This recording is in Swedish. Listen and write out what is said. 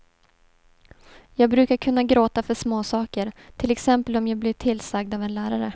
Jag brukar kunna gråta för småsaker, till exempel om jag blir tillsagd av en lärare.